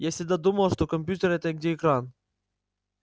я всегда думала что компьютер это где экран